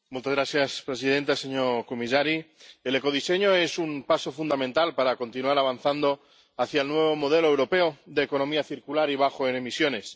Señora presidenta, señor comisario, el ecodiseño es un paso fundamental para continuar avanzando hacia el nuevo modelo europeo de economía circular y bajo en emisiones.